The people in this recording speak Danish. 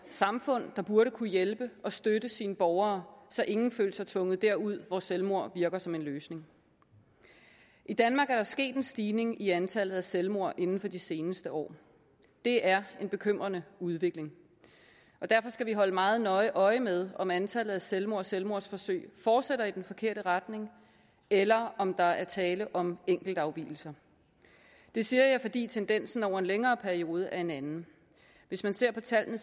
samfund der burde kunne hjælpe og støtte sine borgere så ingen følte sig tvunget derud hvor selvmord virker som en løsning i danmark er der sket en stigning i antallet af selvmord inden for de seneste år det er en bekymrende udvikling og derfor skal vi holde meget nøje øje med om antallet af selvmord og selvmordsforsøg fortsætter i den forkerte retning eller om der er tale om enkeltafvigelser det siger jeg fordi tendensen over en længere periode er en anden hvis man ser på tallene